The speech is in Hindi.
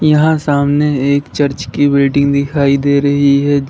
यहां सामने एक चर्च की बिल्डिंग दिखाई दे रही है।